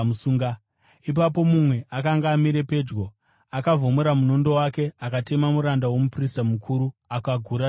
Ipapo mumwe akanga amire pedyo akavhomora munondo wake akatema muranda womuprista mukuru, akagura nzeve yake.